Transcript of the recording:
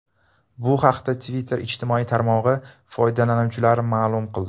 Bu haqda Twitter ijtimoiy tarmog‘i foydalanuvchilari ma’lum qildi.